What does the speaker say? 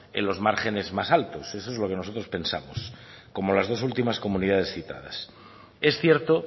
en los márgenes más altos esto es lo que nosotros pensamos como las dos últimas comunidades citadas es cierto